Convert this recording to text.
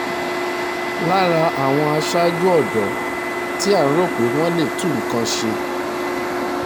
lára àwọn aṣáájú ọ̀dọ́ tí à ń rò pé wọ́n lè tún nǹkan ṣe